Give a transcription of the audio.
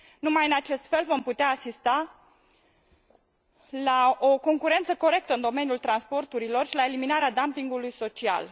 Numai în acest fel vom putea asista la o concurență corectă în domeniul transporturilor și la eliminarea dumpingului social.